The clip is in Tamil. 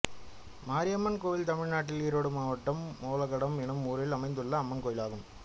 மாரியம்மன் கோயில் தமிழ்நாட்டில் ஈரோடு மாவட்டம் ஒலகடம் என்னும் ஊரில் அமைந்துள்ள அம்மன் கோயிலாகும்